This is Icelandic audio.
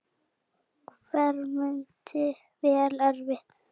Hermdi vel eftir.